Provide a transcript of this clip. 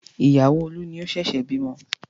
Ìyàwó Olú ni ó ṣẹ̀ṣẹ̀ bímọ.